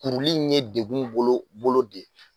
Kuruli in ye dekun bolo , bolo de ye.